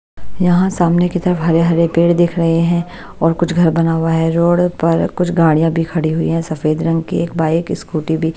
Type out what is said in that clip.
यहाँ सामने की तरफ हरे-हरे पेड़ दिख रहे हैं और कुछ घर बना हुआ है रोड पर कुछ गाड़ियाँ भी खड़ी हुई हैं सफेद रंग की एक बाइक स्कूटी भी--